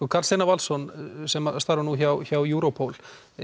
Karl Steinar Valsson sem starfar nú hjá hjá Europol